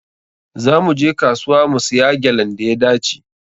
Za mu je kasuwa mu siya gyalan da ya dace.